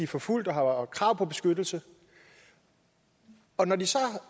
forfulgt og har krav på beskyttelse og når de så